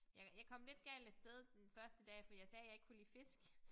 Jeg jeg kom lidt galt af sted den første dag fordi jeg sagde jeg ikke kunne lide fisk